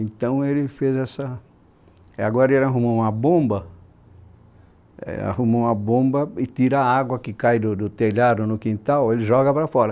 Então ele fez essa... Agora ele arrumou uma bomba, arrumou uma bomba e tira a água que cai do do telhado no quintal, ele joga para fora.